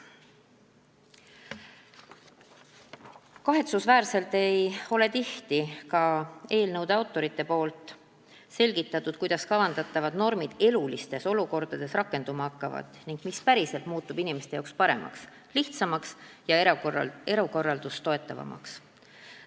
Kahetsusväärselt ei ole tihti ka eelnõude autorid selgitanud, kuidas kavandatavad normid elulistes olukordades rakenduma hakkavad ning mis päriselt muutub inimeste jaoks paremaks, lihtsamaks ja elukorraldust toetavamaks.